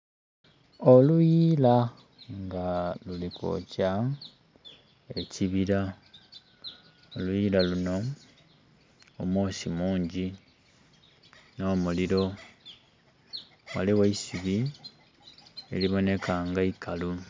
Oluyiila nga luli kwokya ekibira, oluyiila luno omwosi mungi n'omuliro, ghaligho eisubi eliboneka nga ikalu.